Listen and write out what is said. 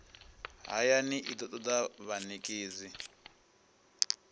hayani i do toda vhanekedzi